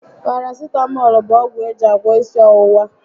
Parasitamọlụ bu ọgwụ eji agwọ ịsị ọwụwa